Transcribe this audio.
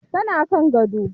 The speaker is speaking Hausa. Tana kan gado.